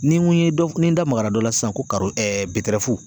Ni n ko ye dɔnkili da magara dɔ la sisan ko